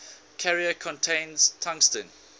carrier contains tungsten